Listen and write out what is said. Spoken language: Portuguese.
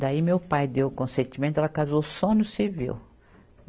Daí meu pai deu o consentimento, ela casou só no civil.